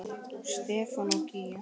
Stefán og Gígja.